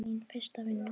Mín fyrsta vinna.